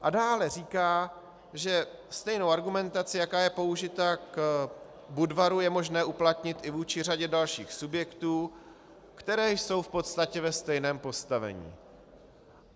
A dále říká, že stejnou argumentaci, jaká je použita k Budvaru, je možné uplatnit i vůči řadě dalších subjektů, které jsou v podstatě ve stejném postavení.